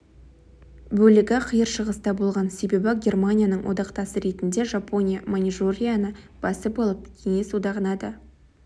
бөлігі қиыр шығыста болған себебі германияның одақтасы ретінде жапония маньжурияны басып алып кеңес одағына да